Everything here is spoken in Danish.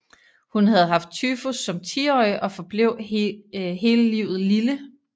Hun havde haft tyfus som tiårig og forblev hele livet lille